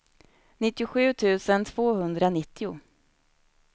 nittiosju tusen tvåhundranittio